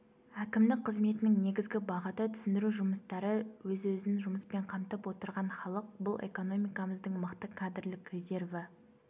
әкімдік қызметінің негізгі бағыты түсіндіру жұмыстары өз-өзін жұмыспен қамтып отырған халық бұл экономикамыздың мықты кадрлік резерві